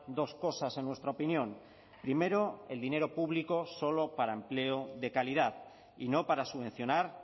dos cosas en nuestra opinión primero el dinero público solo para empleo de calidad y no para subvencionar